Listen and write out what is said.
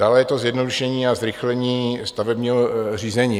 Dále je to zjednodušení a zrychlení stavebního řízení.